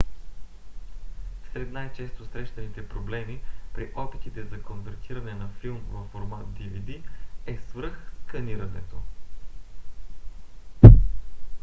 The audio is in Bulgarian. сред най-често срещаните проблеми при опитите за конвертиране на филм във формат dvd е свръхсканирането